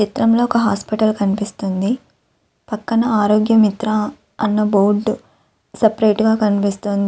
ఈ చిత్రంలో ఒక హాస్పిటల్ కనిపిస్తోంది. పక్కన ఆర్యోగ మిత్ర అన్న బోర్డు సపరేట్ గా కినిపిస్తోంది.